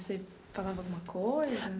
Você falava alguma coisa?